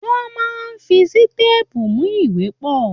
Wọ́n máa ń fi sítépù mú ìwé pọ̀.